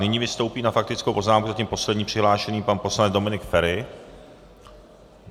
Nyní vystoupí na faktickou poznámku zatím poslední přihlášený pan poslanec Dominik Feri.